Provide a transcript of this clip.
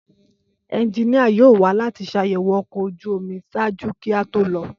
Ẹnjinia yoo wa lati ṣayẹwo ọkọ̀ ojú omi ṣaaju ki o to lọ.